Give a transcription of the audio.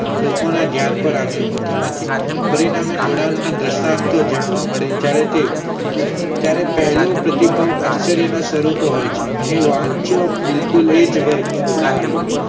લોકો ના ધ્યાન પર આવ્યો હોતો નથી પ્રાણના ના જોડાણ ના દ્રષ્ટ દ્રન્સ્ટંતો જાણવા મળે તે ત્યારે તે ત્યારે પહેલો પ્રતિ ભાવ આશ્ચર્ય ના સ્વરૂપે હોય છે અહીં વાંચો એ જ વગર નું ઉદાહર એ જ છે.